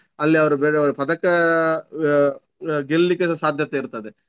ಅಲ್ಲಿ ಅವರು ಬೇರೆಯವರು ಪದಕ ಆಹ್ ಅಹ್ ಗೆಲ್ಲಿಕ್ಕೆ ಸ ಸಾಧ್ಯತೆ ಇರ್ತದೆ.